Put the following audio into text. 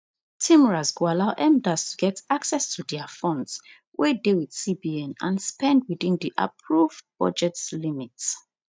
tmras go allow mdas to get access to dia funds wey dey wit cbn and spend within di approve budget limit